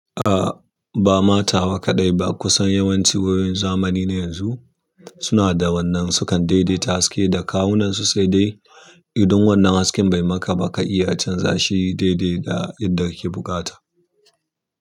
Ah, ba ma tawa kaɗai ba, kusan yawanci wayoyin zamani ne yanzu suna da wannan sukan daidaita haske da kawunansu sai dai idan wannan hasken bai maka ba ka iya canza shi daidai da yadda kike buƙata.